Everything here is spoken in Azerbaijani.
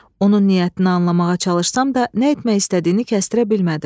Onun niyyətini anlamağa çalışsam da, nə etmək istədiyini kəstira bilmədim.